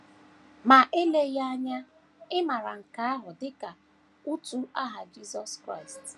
Ma eleghị anya ị maara nke ahụ dị ka utu aha Jisọs Kraịst.